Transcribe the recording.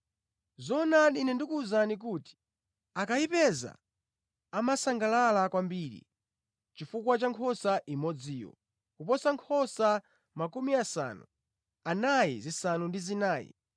Zoonadi, Ine ndikuwuzani kuti akayipeza amasangalala kwambiri chifukwa cha nkhosa imodziyo kuposa nkhosa 99 zimene sizinasochere.